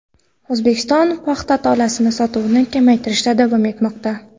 O‘zbekiston paxta tolasi sotuvini kamaytirishda davom etmoqda.